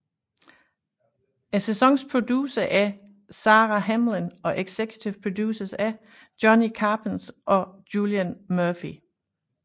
Sæsonens producer er Sara Hamill og executive producers er Johnny Capps og Julian Murphy